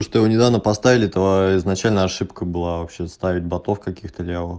что вы недавно поставили то изначально ошибка была вообще ставить ботов каких-то левых